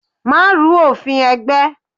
Má ru òfin ẹgbẹ́!